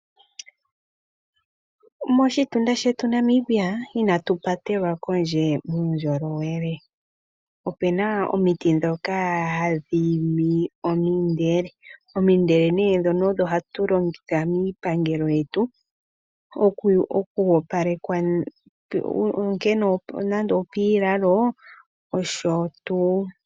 Moshitunda shetu Namibia ina tu patelwa kondje muundjolowele. Opu na omiti ndhoka hadhi imi omindele. Omindele nee ndhono odho hatu longitha miipangelo yetu okwoopalekwa nande opiilalo nosho tuu.